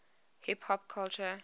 hip hop culture